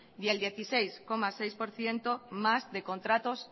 y el dieciséis coma seis por ciento más de contratos